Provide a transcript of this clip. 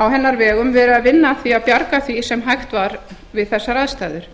á hennar vegum verið að vinna að því að bjarga því sem hægt var við þessar ástæður